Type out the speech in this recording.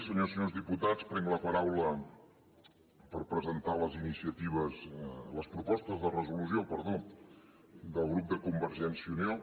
senyores i senyors diputats prenc la paraula per presentar les propostes de resolució del grup de convergència i unió